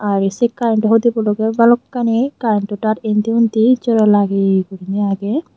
arey se karento hudibo logey balokkani karento taar indi undi jora lageye guri agey.